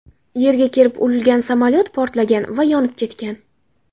Yerga kelib urilgan samolyot portlagan va yonib ketgan.